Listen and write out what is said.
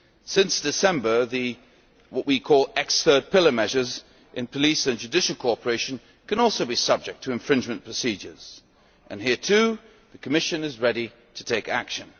Since December what we call the ex Third Pillar' measures in police and judicial cooperation can also be subject to infringement procedures, and here, too, the Commission is ready to take action.